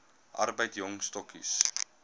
arbeid jong stokkies